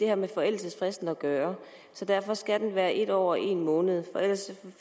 har med forældelsesfristen at gøre derfor skal det være en år og en måned for ellers